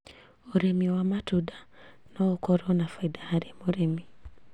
ũrĩmi wa matunda noũkorwo na baida harĩ mũrĩmi